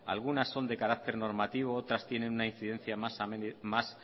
algunas son de carácter normativo otras tienen una incidencia más